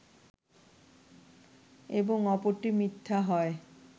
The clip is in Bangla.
এবং অপরটি মিথ্যা হয়